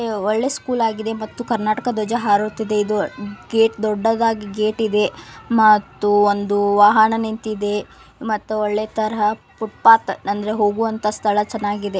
ಇದು ಒಳ್ಳೆ ಸ್ಕೂಲ್ ಆಗಿದೆ ಮತ್ತು ಕರ್ನಾಟಕ ಧ್ವಜ ಹಾರುತ್ತಿದೆ ಇದು ಗೇಟ್ ದೊಡ್ಡದಾಗಿ ಗೇಟ್ ಇದೆ ಮತ್ತು ಒಂದು ವಾಹನ ನಿಂತಿದೆ ಮತ್ತು ಒಳ್ಳೆ ತರ ಪುಟ್ಪಾತ್ ಅಂದ್ರೆ ಹೋಗುವಂತಹ ಸ್ಥಳ ಚೆನ್ನಾಗಿದೆ.